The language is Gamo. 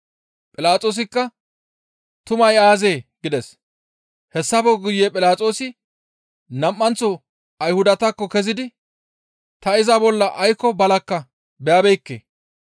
Philaxoosikka, «Tumay aazee?» gides; hessafe guye Philaxoosi nam7anththo Ayhudatakko kezidi, «Ta iza bolla aykko balakka beyabeekke.